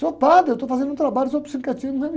Sou padre, eu estou fazendo um trabalho, sobre sincretismo